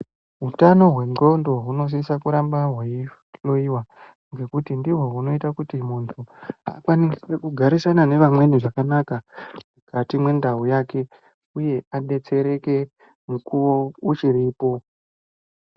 Utano hwendxondo hunosisa kuramba hweihloiwa ngekuti ndihwo hunoita kuti munhu, akwanise kugarisana nevamweni zvakanaka, mukati mwendau yake, uye adetsereke mukuwo uchiripo.